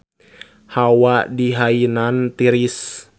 Hawa di Hainan tiris